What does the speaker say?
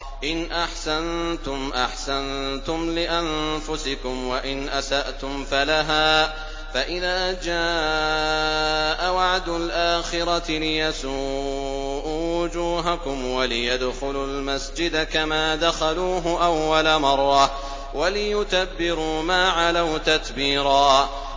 إِنْ أَحْسَنتُمْ أَحْسَنتُمْ لِأَنفُسِكُمْ ۖ وَإِنْ أَسَأْتُمْ فَلَهَا ۚ فَإِذَا جَاءَ وَعْدُ الْآخِرَةِ لِيَسُوءُوا وُجُوهَكُمْ وَلِيَدْخُلُوا الْمَسْجِدَ كَمَا دَخَلُوهُ أَوَّلَ مَرَّةٍ وَلِيُتَبِّرُوا مَا عَلَوْا تَتْبِيرًا